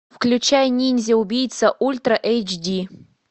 включай ниндзя убийца ультра эйч ди